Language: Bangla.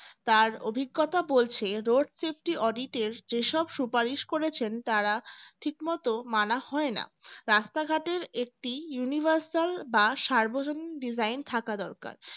তার অভিজ্ঞতা বলছে road safety audit এর যে সব সুপারিশ করেছেন তারা ঠিকমতো মানা হয় না রাস্তা ঘাটের একটি universal বা সার্বজনীন design থাকা দরকার